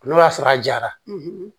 N'o y'a sɔrɔ a jara